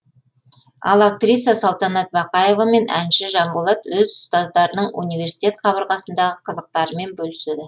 ал актриса салтанат бақаева мен әнші жанболат өз ұстаздарының университет қабырғасындағы қызықтарымен бөліседі